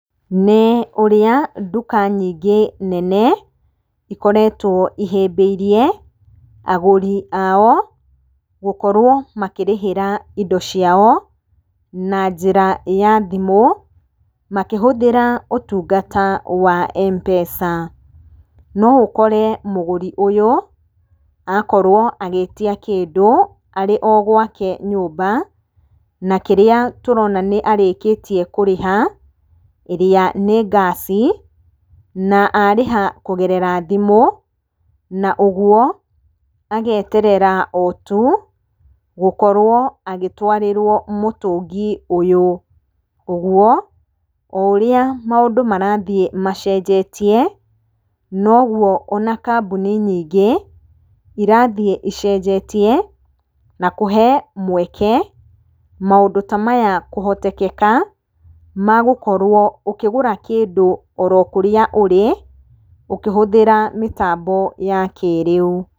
Nĩ ũrĩa nduka nyingĩ nene, ikoretwo ihĩmbĩirie agũri ao gũkorwo makĩrĩhĩra indo ciao na njĩra ya thimũ makĩhũthĩra ũtungata wa M-pesa. Noũkore mũgũri ũyũ akorwo agĩtia kĩndũ arĩ o gwake nyũmba. Na kĩrĩa tũrona nĩ arĩkĩtie kũrĩha ĩrĩa nĩ ngaci, na arĩha kũgerera thimũ, na ũguo ageterera otu gũkorwo agĩtwarĩrwo mũtũngi ũyũ. Ũguo, o ũrĩa maũndũ marathiĩ macenjetie nogũo ona kambuni nyingĩ irathiĩ icenjetie, na kũhe mweke maũndũ ta maya kũhotekeka magũkorwo ũkĩgũra kĩndũ oro kũrĩa ũrĩ ũkĩhũthĩra mĩtambo ya kĩĩrĩu.